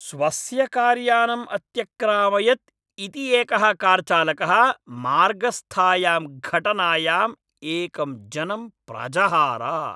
स्वस्य कार्यानम् अत्यक्रामयत् इति एकः कार्चालकः मार्गस्थायां घटनायाम् एकं जनं प्रजहार।